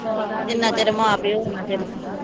ਜਿਨਾ ਚਿਰ ਮਾਂ ਪਿਓ ਓਨਾ ਚਿਰ ਪੇਕੇ